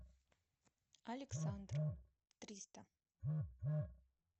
александр триста